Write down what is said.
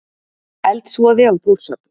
Eldsvoði á Þórshöfn